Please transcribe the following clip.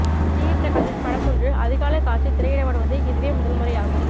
GV பிரகாஷின் படம் ஒன்று அதிகாலை காட்சி திரையிடப்படுவது இதுவே முதல் முறை ஆகும்